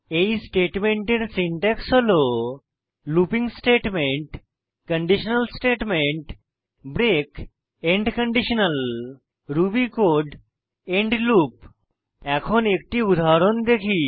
এই স্টেটমেন্টের সিনট্যাক্স হল looping statement conditional statement break end conditional Ruby code end loop এখন একটি উদাহরণ দেখি